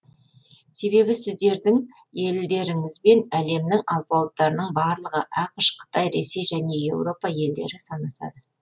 себебі сіздердің елдеріңізбен әлемнің алпауыттарының барлығы ақш қытай ресей және еуропа елдері санасады